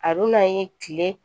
A dunan ye kile